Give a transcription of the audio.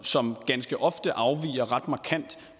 som ganske ofte afviger ret markant